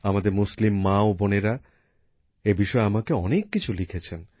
আমাদের মুসলিম মা ও বোনেরা এ বিষয়ে আমাকে অনেক কিছু লিখেছেন